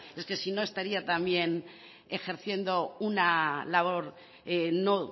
es que si no estaría también ejerciendo una labor no